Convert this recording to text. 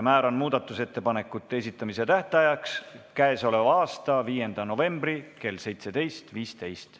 Määran muudatusettepanekute esitamise tähtajaks k.a 5. novembri kell 17.15.